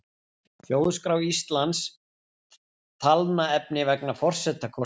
Þjóðskrá Íslands Talnaefni vegna forsetakosninga.